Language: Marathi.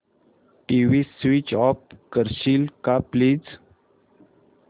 टीव्ही स्वीच ऑफ करशील का प्लीज